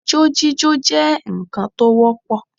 Ijó jíjó jẹ́ ǹkan tó wọ́pọ̀